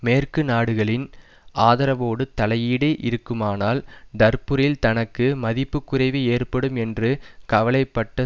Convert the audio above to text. மேற்கு நாடுகளின் ஆதரவோடு தலையீடு இருக்குமானால் டர்புரில் தனக்கு மதிப்புக்குறைவு ஏற்படும் என்று கவலைபட்ட